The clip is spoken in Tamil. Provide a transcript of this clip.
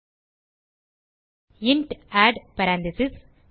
எழுதுக இன்ட் ஆட் பேரெந்தீசஸ்